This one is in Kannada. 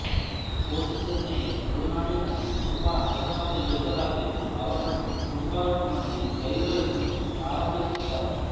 ಕೋಟಿ ಚೆನ್ನಯ ತುಳುನಾಡಿನಲ್ಲಿ ತುಂಬ ಹೆಸರಾದ ಯೋಧರಾಗಿದ್ದು ಅವರನ್ನು ತುಂಬ ಮಂದಿ ದೈವ ಎಂದು ಆರಾಧಿಸುತ್ತಾರೆ